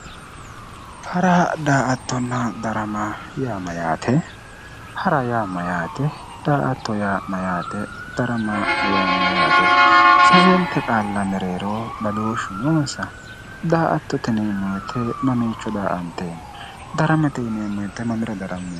Hara daa"attonna darama yaa mayyaate hara yaa mayyaate daa"atto yaa mayyate darama yaa mayyaate sasenta qaaa mereero badooshshu noonsa daa"attote yineemmo woyte mamiicho daa"anteemmo daramate yineemmo woyte mamira darammeemmo